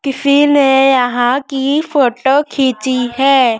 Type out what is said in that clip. किसी ने यहां की फोटो खींची है।